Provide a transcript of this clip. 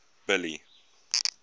billy